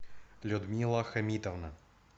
людмила хамитовна